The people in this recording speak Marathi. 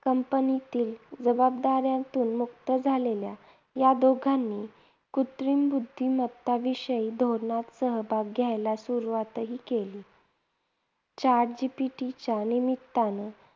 Company तील जबाबदाऱ्यातून मुक्त झालेल्या या दोघांनी कृत्रिम बुद्धिमत्ता विषयी धोरणात सहभाग घ्यायला सुरुवातही केली. Chat GPT च्या निमित्ताने